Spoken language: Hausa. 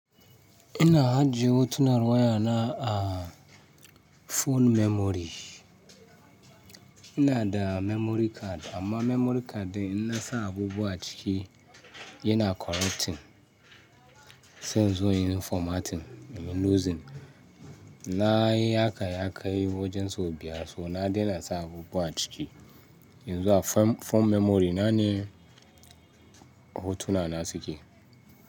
Ina hajiye hotunan wayana a phone memory. Ina da memory card amma memory cardin ina sa abubuwa ciki yana corrupting, sai in zo yin formatting, in yi losing. Na yi haka ya kai wajen sau biyar, so na daina sa abubuwa ciki. Yanzu a phone memory na ne hotunana suke.